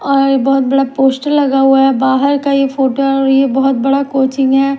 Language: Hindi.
और बहुत बड़ा पोस्टर लगा हुआ है बाहर का ये फोटो है और ये बहुत बड़ा कोचिंग है।